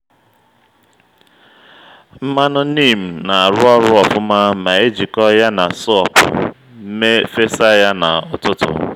nmanụ neem na-arụ ọrụ ofuma ma a jikọọ ya na sọọpụ fesa ya na’ututu